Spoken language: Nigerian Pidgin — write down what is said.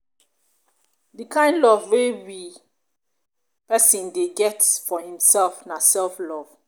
di kind love wey wey person dey get for im self na self love